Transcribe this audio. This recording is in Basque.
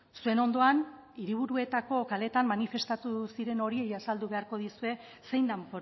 zuen ondoan hiriburuetako kaleetan manifestatu ziren horiei azaldu beharko diezue zein den